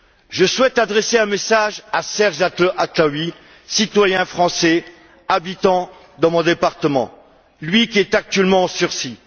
Je souhaite adresser un message à Serge Atlaoui, citoyen français habitant dans mon département, lui qui est actuellement en sursis.